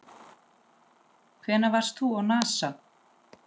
Hvenær varst þú á NASA?